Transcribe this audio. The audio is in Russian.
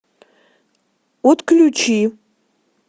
отключи